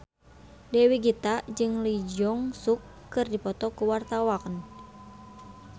Dewi Gita jeung Lee Jeong Suk keur dipoto ku wartawan